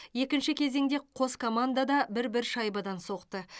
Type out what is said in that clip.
екінші кезеңде қос команда да бір бір шайбадан соқты